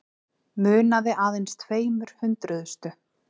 Munaði aðeins tveimur hundruðustu